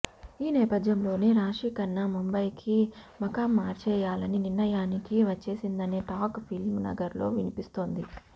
ఈ నేపథ్యంలోనే రాశి ఖన్నా ముంబైకి మకామ్ మార్చేయాలనే నిర్ణయానికి వచ్చేసిందనే టాక్ ఫిల్మ్ నగర్లో వినిపిస్తోంది